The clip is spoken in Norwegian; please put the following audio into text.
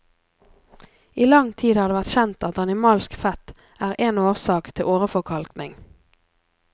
I lang tid har det vært kjent at animalsk fett er en årsak til åreforkalkning.